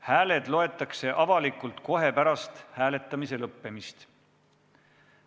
Hääled loetakse avalikult kohe pärast hääletamise lõppemist.